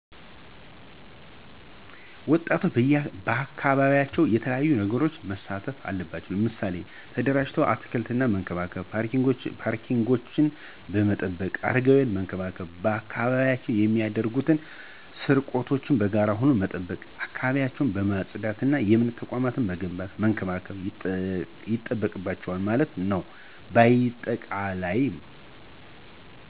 ወጣቶች ባካባቢያቸው በተለያዪ ነገሮች መሣተፍ አለባቸው። ምሣሌ ተደራጅተው አትክልቶችን በመንከባከብ፣ ፓርኪንጎችን በመጠበቅ፣ አረጋውያንን በመንከባከብ፣ ባካባቢው የሚደረጉ ስርቆቶችን በጋራ ሁኖ መጠበቅ፣ አካባቢን በማፅዳት፣ የእምነት ተቋማትን መገንባትና መንከባከብ ይጠበቅባቸዋል ማለት ነው ባጠቃላይ።